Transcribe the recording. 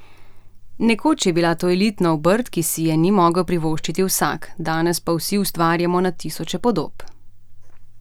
Nekoč je bila to elitna obrt, ki si je ni mogel privoščiti vsak, danes pa vsi ustvarjamo na tisoče podob.